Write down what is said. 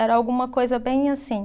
Era alguma coisa bem assim.